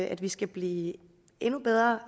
at vi skal blive endnu bedre